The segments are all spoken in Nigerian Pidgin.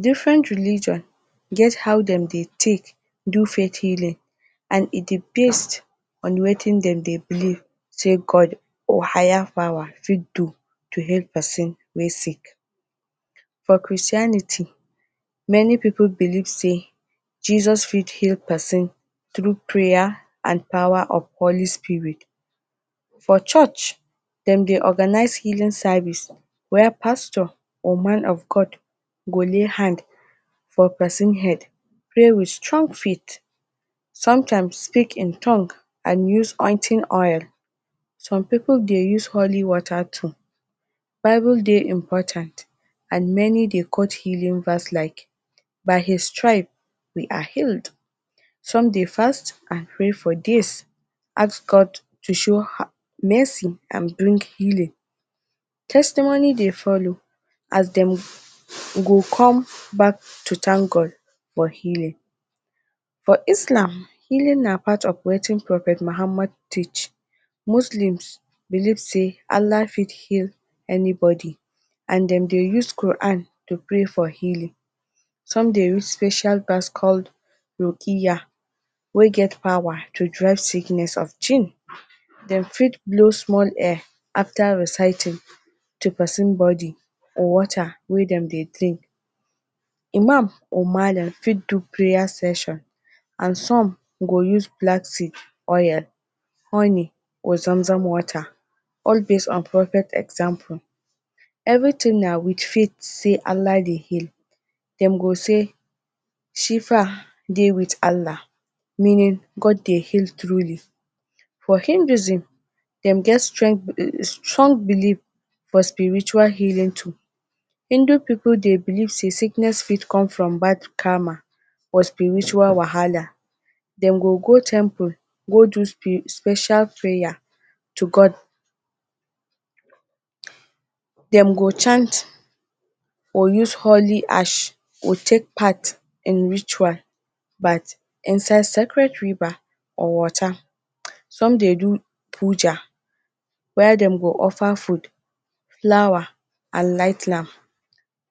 different religion get how dem dey take do fate healing and e dey based on wetin dem dey believe say god or higher power fit do to heal persin wey sick for christianity many pipo believe say jesus fit heal pesin true praer and power of olice spirit for church dem dey organize healingr service wia pastor or man of god go lay hand for pesin head pray wit strong fate sometimes speak in tongue and use onting oil, some pipol dey use holy water tu, bible dey impotant and meni dey qwot healing verse like by his stribe we are healed. sum dey fast and pray for dis out god tu show merci and bring healing testimoni dey folow as dem go cum back tu tank god for healing. for islam healing na part of watin prophet mahamad teach moslems believe say alah fit heal anybodi and den dey use qoran dey pray for healing, sum dey use special bask call rokiya wey get power tu drive sikness of shin, dem fit blow small air after reciting tu persin bodi water wey dem dey drink. imam or malam fi do prayer session and sum go use black seed oil, honey or zamzam water all dis and prophet example. everi tin na wit fate say alah dey heal dem go say shifer dey wit alah meanin god dey heal truli. for indizin dem get stre strong believe for spiritual healing tu indo pipo dey believe say sickness fit cum from bad karma or spiritual wahala, dem go go temple go do spi special prayer tu god. dem go chant or use holi arsh wu take part in ritual bat inside secrit river or water. sum dey do pulja were dem go offer food, flower and light lam.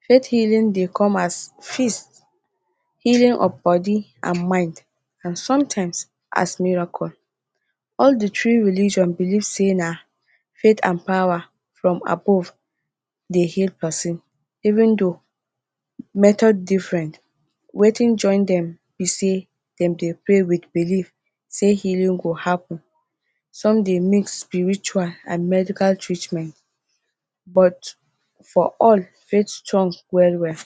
fate heaaling dey cum as feast, healinf od bodi and mind and sumtimes as miracle. all the tree religion believe say na fate and power from above dey heal persin, even though metod different, watin join dem be say dem dey pray with believe say healing go happen, sum dey make spiritual and medical treatment but for all fate strong well well